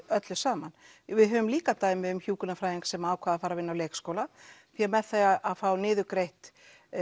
öllu saman við höfum líka dæmi um hjúkrunarfræðing sem að ákvað að fara að vinna á leikskóla því að með því að fá niðurgreitt